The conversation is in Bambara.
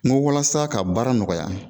N ko walasa ka baara nɔgɔya